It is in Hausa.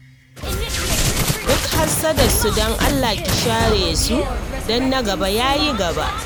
Duk hassadarsu don Allah ki share su, don na gaba ya yi gaba!